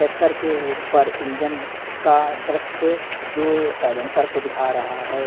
Tractor के ऊपर engine का दृश्य जो साइलेंसर को दिखा रहा हैं।